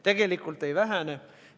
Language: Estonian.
Tegelikult ei vähene.